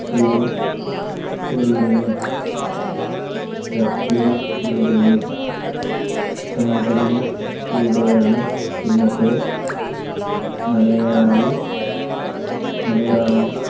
പികളുടെയും പികളുടെയും. സങ്കലന ത്തിലൂടെയാണ് ഇന്നത്തെ മലയാളി മലയാള